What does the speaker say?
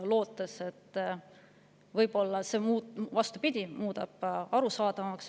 Loodeti, et võib-olla muudab see arusaadavamaks.